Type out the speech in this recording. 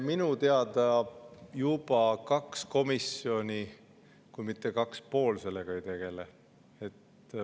Minu teada juba kaks komisjoni, kui mitte kaks-pool, sellega tegelevad.